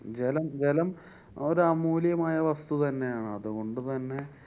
ജലം വെലം ഒരമൂല്ല്യമായ വസ്തു തന്നെയാണ്. അതുകൊണ്ട് തന്നെ